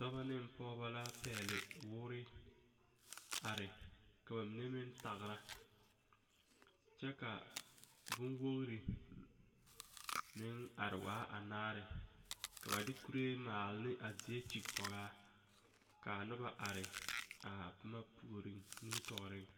Die poɔ la k,a dakogro mine waa peɛle k,a mine waa sɔglɔ kyɛ k,a die kaŋ lambori waa pelaa ka ba eŋ kyããne kyɛ k,a kaŋa meŋ waa ka kaŋa meŋ taa bondoɔ waaloŋ.